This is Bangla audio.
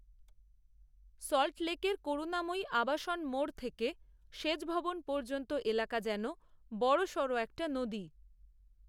সল্টলেকের করুণাময়ী আবাসন মোড় থেকে সেচভবন পর্যন্ত এলাকা যেন বড়সড় একটা নদী